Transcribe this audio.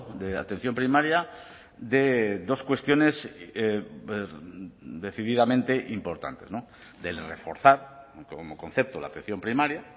de atención primaria de dos cuestiones decididamente importantes del reforzar como concepto la atención primaria